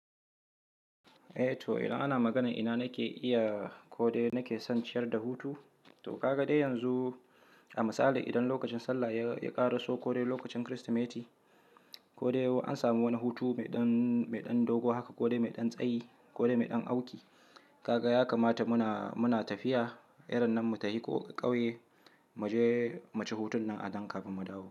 Eh to ina ana maganar ina nake iya ko dai nake son ciyar da hutu to ka ga dai yanzu a misali idan lokacin sallah ya ƙaraso ko dai lokacin Kirsimeti ko dai an samu wani hutu mai ɗan dogo haka ko dai mai ɗan tsayi ko dai mai ɗan auki, ka ga ya kamata muna tafiya irin nan mu tafi ƙauye mu je mu ci hutun nan a nan kafin mu dawo.